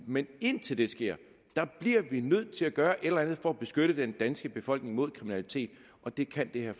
men indtil det sker bliver vi nødt til at gøre et eller andet for at beskytte den danske befolkning imod kriminalitet og det kan det her